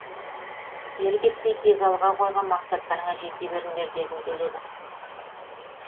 кері кетпей тек алға қойған мақсаттарыңа жете беріңдер дегім келеді